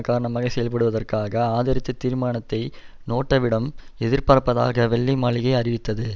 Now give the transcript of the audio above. காரணமாகச் செயல்படுவதற்காக ஆதரித்துத் தீர்மானத்தை நேட்டோவிடம் எதிர்பார்ப்பதாக வெள்ளை மாளிகை அறிவித்தது